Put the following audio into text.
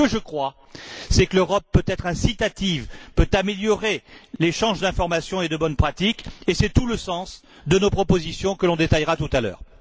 Mais ce que je crois, c'est que l'Europe peut être incitative, peut améliorer l'échange d'informations et de bonnes pratiques, et c'est tout le sens de nos propositions, que l'on détaillera tout à l'heure.